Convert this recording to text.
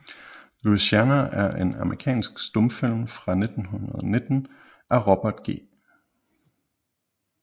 Louisiana er en amerikansk stumfilm fra 1919 af Robert G